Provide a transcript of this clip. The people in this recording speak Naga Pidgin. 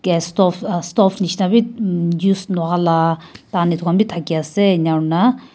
gas stove uh stove nishina bi mmmh use nahoa la etu khanbi thaki ase ena hoina--